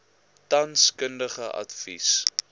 tans kundige advies